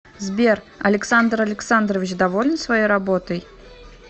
сбер александр александрович доволен своей работой